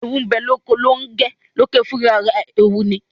Eewu bẹ loko Longẹ, Longẹ fun ará rẹ eewu ní